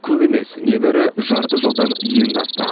көп емес небәрі жарты жылдан енді асты